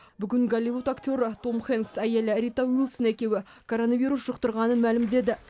бүгін голливуд актері том хэнкс әйелі рита уилсон екеуі коронавирус жұқтырғанын мәлімдеді